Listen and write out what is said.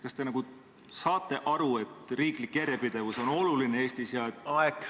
Kas te nagu saate aru, et riiklik järjepidevus on Eestis oluline?